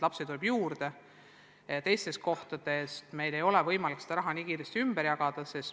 Lapsi tuleb juurde, aga teistes kohtades ei ole meil võimalik seda raha kiiresti ümber jagada.